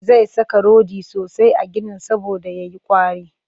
Zai saka rodi sosai a ginin saboda ya yi ƙwari